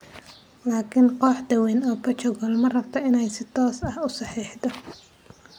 Laakin kooxda weyn ee Portugal ma rabto inay si toos ah u saxiixdo.